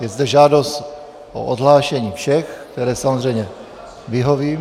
Je zde žádost o odhlášení všech, které samozřejmě vyhovím.